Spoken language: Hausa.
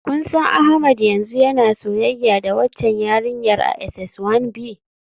Kun san Ahmed yanzu yana soyayya da waccan yarinyar a SS One B?